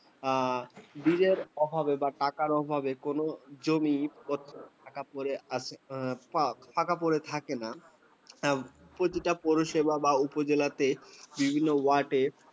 আর bill অভাবে বা টাকার অভাবে কোন জমি ফাঁকা পড়ে , ফাকা পড়ে থাকে না, তা প্রতিটা পৌরসভা বা উপজেলাতে বিভিন্ন ward এ